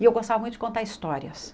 E eu gostava muito de contar histórias.